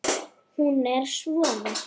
Hún er svona: